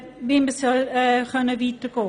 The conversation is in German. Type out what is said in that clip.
Wie soll und kann man weitergehen?